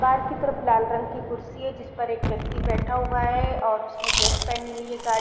बाहर की तरफ लाल रंग की कुर्सी है जिस पर एक व्यक्ति बैठा हुआ है और उसने ड्रेस पेहनी हुई हैं गार्ड --